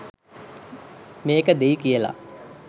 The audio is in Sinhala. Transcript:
මේක දෙයි කියලා.